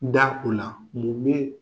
Da ko la